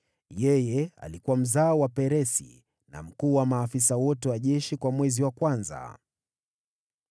Yeye alikuwa mzao wa Peresi, na mkuu wa maafisa wote wa jeshi kwa mwezi wa kwanza.